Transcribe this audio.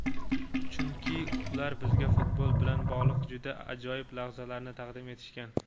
Chunki ular bizga futbol bilan bog‘liq juda ajoyib lahzalarni taqdim etishgan.